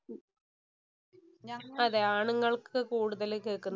അതേ, ആണുങ്ങള്‍ക്ക് കൂടുതല്‍ കേക്കുന്നേ.